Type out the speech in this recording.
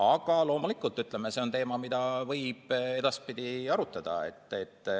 Aga loomulikult see on teema, mida võib edaspidi arutada.